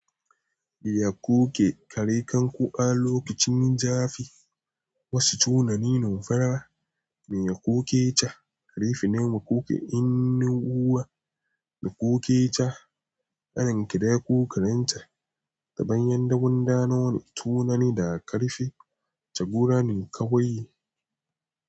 Biya kuke kare kanku a lokacin jafi. Wasu tunanin farawa miya kuke ta karfi, nema kuke in uwa na kuke ta aron kiɗa ko karanta ta bayan dabun damuwa. Tunani da karfi ta gudanin kawai.